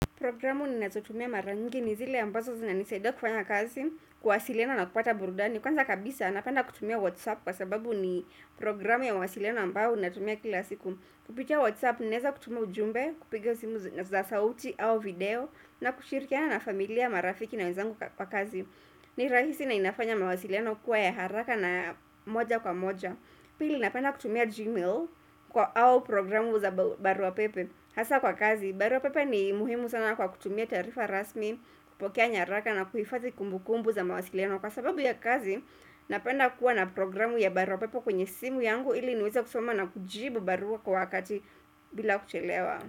Programu ni natutumia mara ngini zile ambazo zina nisaida kufanya kazi, kuwasilina na kupata burdani. Kwanza kabisa napenda kutumia Whatsapp kwa sababu ni programu ya wasilena ambao natumia kila siku. Kupitia Whatsapp, neza kutumia ujumbe, kupiga simu za sauti au video na kushirikia na familia, marafiki na wezangu kwa kazi. Ni rahisi na inafanya mawasiliano kwa ya haraka na moja kwa moja. Pili napenda kutumia Gmail kwa au programu za barua pepe. Hasa kwa kazi, baro pepe ni muhimu sana kwa kutumia tarifa rasmi, kupokea nyaraka na kuhifazi kumbu kumbu za mawasiliano. Kwa sababu ya kazi, napenda kuwa na programu ya barua pepe kwenye simu yangu ili nuweza kusoma na kujibu barua kwa wakati bila kuchelewa.